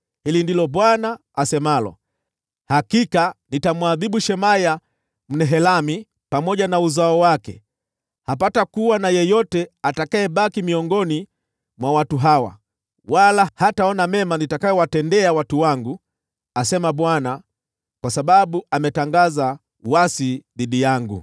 hili ndilo Bwana asemalo: Hakika nitamwadhibu Shemaya Mnehelami pamoja na uzao wake. Hapatakuwa na yeyote atakayebaki miongoni mwa watu hawa, wala hataona mema nitakayowatendea watu wangu, asema Bwana , kwa sababu ametangaza uasi dhidi yangu.’ ”